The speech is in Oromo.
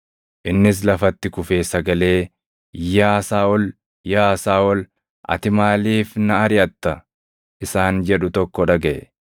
Innis lafatti kufee sagalee, “Yaa Saaʼol, Yaa Saaʼol, ati maaliif na ariʼatta?” isaan jedhu tokko dhagaʼe.